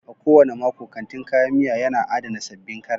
A kowane mako, kantin kayan miya yana adana sabbin karas